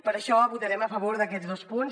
per això votarem a favor d’aquests dos punts